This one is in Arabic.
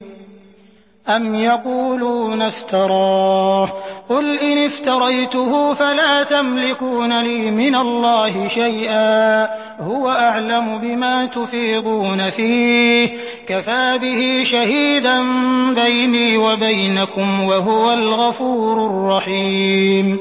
أَمْ يَقُولُونَ افْتَرَاهُ ۖ قُلْ إِنِ افْتَرَيْتُهُ فَلَا تَمْلِكُونَ لِي مِنَ اللَّهِ شَيْئًا ۖ هُوَ أَعْلَمُ بِمَا تُفِيضُونَ فِيهِ ۖ كَفَىٰ بِهِ شَهِيدًا بَيْنِي وَبَيْنَكُمْ ۖ وَهُوَ الْغَفُورُ الرَّحِيمُ